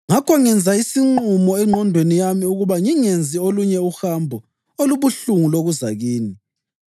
Ngakho ngenza isinqumo engqondweni yami ukuba ngingenzi olunye uhambo olubuhlungu lokuza kini.